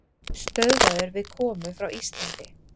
Stöðvaður við komu frá Íslandi